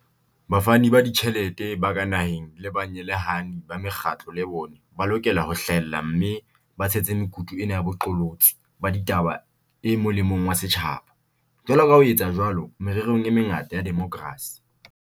Bafani ba ditjhelete ba ka naheng le banyehelani ba mekgatlo le bona ba lokela ho hlahella mme ba tshehetse mekutu ena ya boqolotsi ba ditaba e mo lemong wa setjhaba, jwaloka ha ho etswa jwalo mererong e mengata ya demokrasi.